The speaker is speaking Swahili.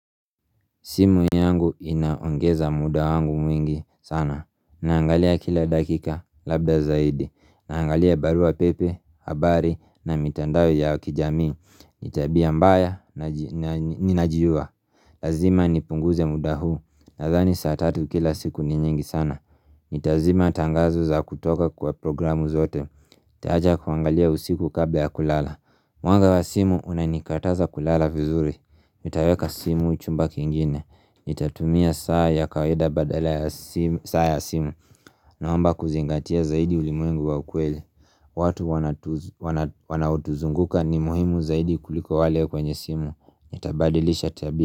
Simu yangu inaongeza muda wangu mwingi sana. Naangalia kila dakika, labda zaidi, naangalia barua pepe, habari na mitandao ya kijamii ni tabia mbaya na ninajua Lazima nipunguze muda huu nadhani saa tatu kila siku ni nyingi sana Nitazima tangazo za kutoka kwa programu zote. Nitaacha kuangalia usiku kabla kulala. Mwanga wa simu unanikataza kulala vizuri. Nitaweka simu chumba kingine Nitatumia saa ya kawaida badala ya saa ya simu Naomba kuzingatia zaidi ulimwengu wa ukweli watu wanaotuzunguka ni muhimu zaidi kuliko wale kwenye simu. Itabadilisha tabia.